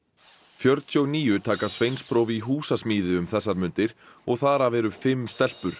fjörutíu og níu taka sveinspróf í húsasmíði um þessar mundir og þar af eru fimm stelpur